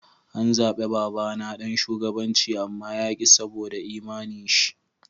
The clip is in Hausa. An zabe baba na dan shugabanci amma ya ki saboda imani'n shi.